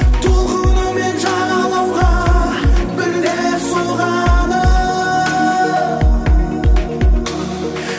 толқынымен жағалауға бірде соғады